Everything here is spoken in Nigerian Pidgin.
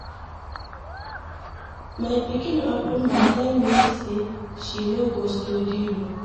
My pikin open mouth tell me say she no go study law.